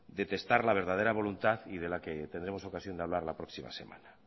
de testar la verdadera voluntad y de la que tendremos ocasión de hablar la próxima semana